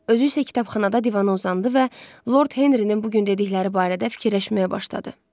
Özü isə kitabxanada divana uzandı və Lord Henri-nin bu gün dedikləri barədə fikirləşməyə başladı.